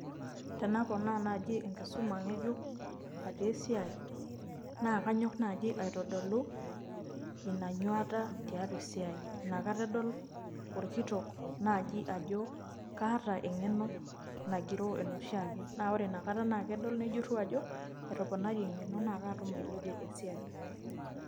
Tenaponaa naaji enkisuma nkejuk atii esiai naakanyok naaji aitodolu ina nyuata tiatua esiai, nakata edol olkitok naaji ajo kaata enkeno nagiroo enoshiake. Naa ore nakata naa kedol nejuru ajo etoponari enkeno naatum ailepie esiai.